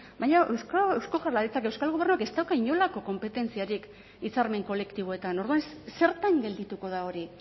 baina eusko jaurlaritzak euskal gobernuak ez dauka inolako konpetentziarik hitzarmen kolektiboetan orduan zertan geldituko da hori